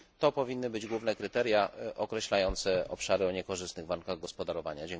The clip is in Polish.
To powinny być główne kryteria określające obszary o niekorzystnych warunkach gospodarowania.